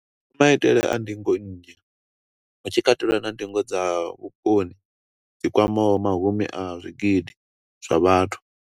maitele a ndingo nnzhi, hu tshi katelwa na ndingo dza vhukoni dzi kwamaho mahumi a zwigidi zwa vhathu.